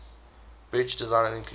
bridge designs include